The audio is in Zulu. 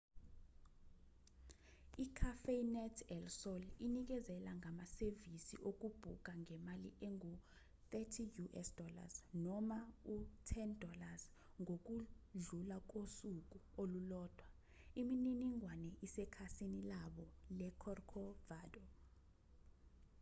i-cafenet el sol inikezela ngamasevisi okubhuka ngemali engu- us$30 noma u- $10 ngokudlula kosuku olulodwa; imininingwane isekhasini labo le-corcovado